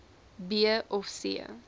b of c